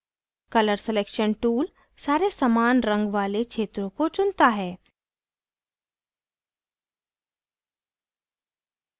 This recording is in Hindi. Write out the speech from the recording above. colour selection tool सारे समान रंग वाले क्षत्रों को चुनता है